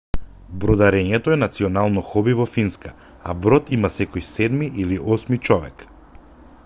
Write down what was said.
бродарењето е национално хоби во финска а брод има секој седми или осми човек